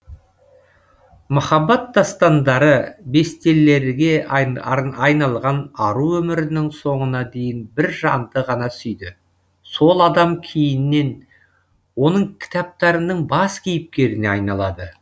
махаббат дастандары бестеллерге айналған ару өмірінің соңына дейін бір жанды ғана сүйді сол адам кейіннен оның кітаптарының бас кейіпкеріне айналады